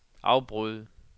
afbryd